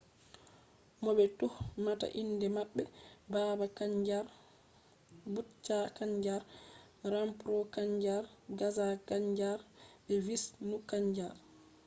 mo be tuhmata inde mabbe baba kanjar bhutha kanjar rampro kanjar gaza kanjar be vishnu kanjar